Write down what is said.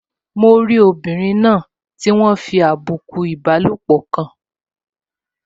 Mo rí obìnrin náà tí wọ́n fi àbùkù ìbálòpọ̀ kàn